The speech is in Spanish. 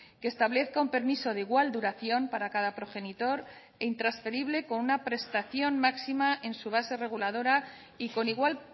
que establezca un permiso de igual duración para cada progenitor e intransferible con una prestación máxima en su base reguladora y con igual